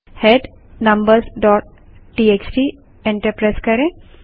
head numbersटीएक्सटी enter करें